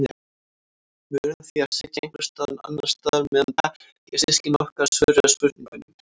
Við urðum því að sitja einhvers staðar annars staðar meðan bekkjarsystkini okkar svöruðu spurningunum.